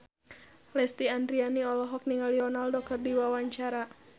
Lesti Andryani olohok ningali Ronaldo keur diwawancara